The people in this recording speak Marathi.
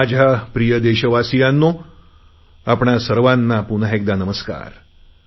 माझ्या देशवासियांनो आपणा सर्वांना पुन्हा एकदा नमस्कार